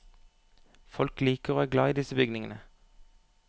Folk liker og er glad i disse bygningene.